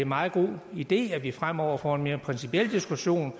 meget god idé at vi fremover får en mere principiel diskussion